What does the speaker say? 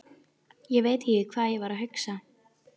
Ég veit ekki hvað ég var að hugsa.